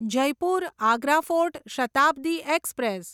Jaipur Agra fort Shatabdi express